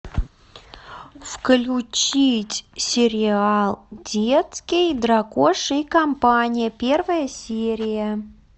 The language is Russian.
включить сериал детский дракоша и компания первая серия